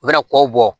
U bɛna kɔw bɔ